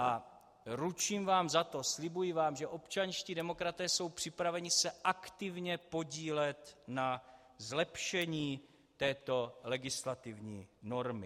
A ručím vám za to, slibuji vám, že občanští demokraté jsou připraveni se aktivně podílet na zlepšení této legislativní normy.